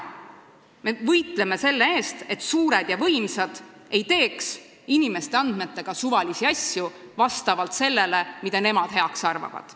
Me võitleme selle eest, et suured ja võimsad ei teeks inimeste andmetega suvalisi asju, seda, mida nemad heaks arvavad.